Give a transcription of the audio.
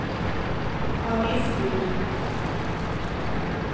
avisbud